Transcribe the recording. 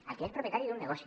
al que és propietari d’un negoci